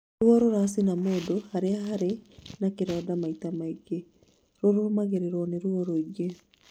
Ruo rũracina mũndũ harĩa harĩ na kĩronda maita maingĩ rũrũmagĩrĩrwo nĩ ruo rũingĩ